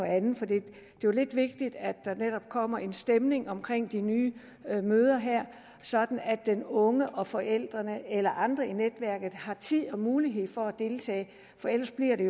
andet for det er jo lidt vigtigt at der netop kommer en stemning om de nye møder her sådan at den unge og forældrene eller andre i netværket har tid og mulighed for at deltage for ellers bliver det